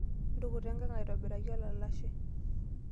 Ntukuta enkang aitobiraki olalashe.